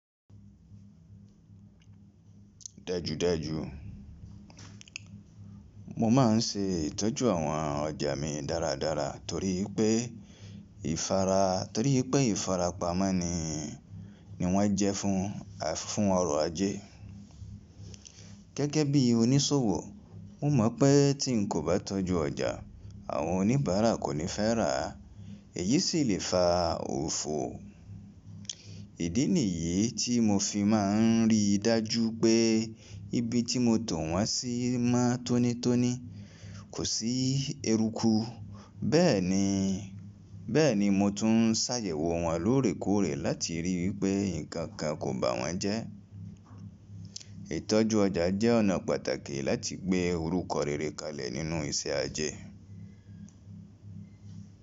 Dájúdájú mo máa ń ṣe ìtọ́jú àwọn ọjà mi dáradára torí pé torí pé ìfarapa mọ ni wọ́n jẹ́ fún ọrọ̀ ajé. Gẹ́gẹ́ bí onísòwò, mo mọ̀ pé tí n kò bá tọ́jú ọjà, àwọn oníbàárà kò ní fẹ́ rà á, èyí sì lè fa òfò. Ìdí nìyí tí mo fi máa ń rí dájú pé ibi tí mo tò wọ́n sí mọ́ tónítóní, kò sí eruku, bẹ́ẹ̀ ni. Bẹ́ẹ̀ ni, mo tún ń ṣàyẹ̀wò wọ́n lóòrèkóòrè láti rí i wípé nǹkan kan kò bà wọ́n jẹ́. Ìtọ́jú ọjà jẹ́ ọ̀nà pàtàkì láti gbé orúkọ rere kalẹ̀ nínú iṣẹ́ ajé.